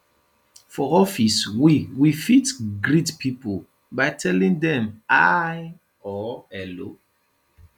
for office we we fit greet pipo by telling dem hi or hello